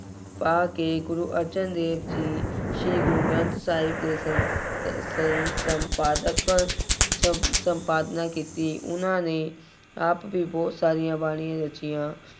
ਪਾ ਕੇ ਗੁਰੂ ਅਰਜਨ ਦੇਵ ਜੀ, ਸ਼੍ਰੀ ਗੁਰੂ ਗ੍ਰੰਥ ਸਾਹਿਬ ਦੇ ਸੰਨ ਸਸਨ ਸੰਪਾਦਕ ਸੰਪ ਸੰਪਾਦਨਾ ਕੀਤੀ। ਉਹਨਾ ਨੇ ਆਪ ਵੀ ਬਹੁਤ ਸਾਰੀਆਂ ਬਾਣੀਆਂ ਰਚੀਆਂ।